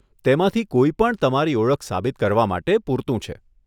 તેમાંથી કોઈપણ તમારી ઓળખ સાબિત કરવા માટે પૂરતું છે.